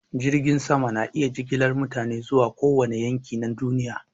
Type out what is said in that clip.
Jiragen sama na iya jigilar mutane zuwa kowane yanki na duniya.